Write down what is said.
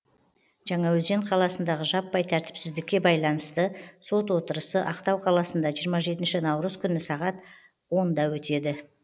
жаңаөзен қаласындағы жаппай тәртіпсіздікке байланысты сот отырысы ақтау қаласында жиырма жетінші наурыз күні сағат он да өтеді